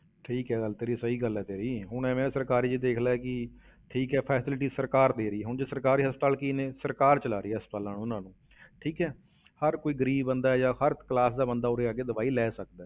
ਠੀਕ ਹੈ ਗੱਲ ਤੇਰੀ, ਸਹੀ ਗੱਲ ਹੈ ਤੇਰੀ, ਹੁਣ ਇਵੇਂ ਸਰਕਾਰੀ ਵਿੱਚ ਦੇਖ ਲੈ ਕਿ ਠੀਕ ਹੈ facility ਸਰਕਾਰ ਦੇ ਰਹੀ ਹੈ ਉਞ ਸਰਕਾਰੀ ਹਸਪਤਾਲ ਕੀ ਨੇ, ਸਰਕਾਰ ਚਲਾ ਰਹੀ ਹੈ ਹਸਪਤਾਲਾਂ ਉਹਨਾਂ ਨੂੰ ਠੀਕ ਹੈ ਹਰ ਕੋਈ ਗ਼ਰੀਬ ਬੰਦਾ ਹੈ ਜਾਂ ਹਰ class ਦਾ ਬੰਦਾ ਉਰੇ ਆ ਕੇ ਦਵਾਈ ਲੈ ਸਕਦਾ ਹੈ।